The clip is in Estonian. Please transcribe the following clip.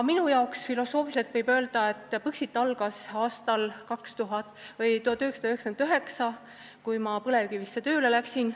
Filosoofiliselt võin öelda, et Põxit algas aastal 1999, kui mina Eesti Põlevkivisse tööle läksin.